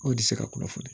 O tɛ se ka kunnafoni